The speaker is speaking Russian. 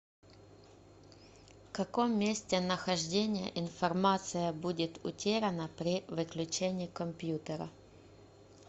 в каком месте нахождения информация будет утеряна при выключении компьютера